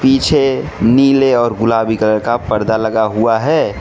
पीछे नीले और गुलाबी कलर का पर्दा लगा हुआ है।